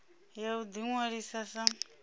ya u ḓi ṅwalisa sa